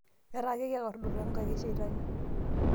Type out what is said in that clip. naata ake kikordu to inkaek ee shitani